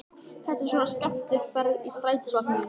Þetta er svona skemmtiferð í strætisvagninum!